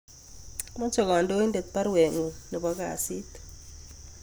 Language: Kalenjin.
moche kodoin'det barwet ngu'ng nebo kasit